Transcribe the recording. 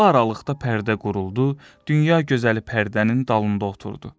Bu aralıqda pərdə quruldu, dünya gözəli pərdənin dalında oturdu.